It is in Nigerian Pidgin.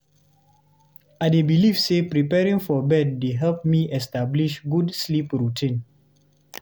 I dey believe say preparing for bed dey help me establish good sleep routine.